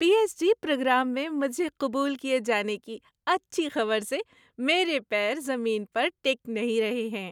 پی H D programme میں مجھے قبول کیے جانے کی اچھی خبر سے میرے پیر زمین پر ٹک نہیں رہے ہیں۔